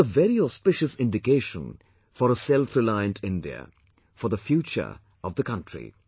This is a very auspicious indication for selfreliant India, for future of the country